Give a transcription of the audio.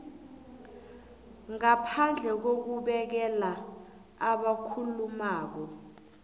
ngaphandle kokubekela abakhulumako